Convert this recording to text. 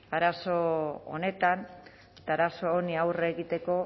arazo honi aurre egiteko